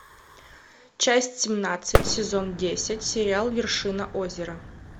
часть семнадцать сезон десять сериал вершина озера